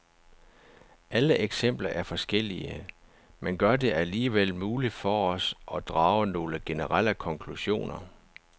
Alle eksempler er forskellige, men gør det alligevel muligt for os at drage nogle generelle konklusioner.